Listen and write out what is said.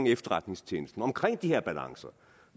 efterretningstjenesten om de her balancer